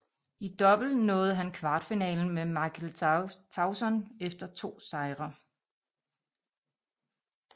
I double nåede han kvartfinalen med Michael Tauson efter to sejre